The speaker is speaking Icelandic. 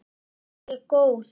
Er ég góð?